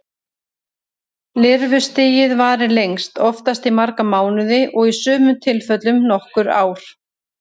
Lirfustigið varir lengst, oftast í marga mánuði og í sumum tilfellum í nokkur ár.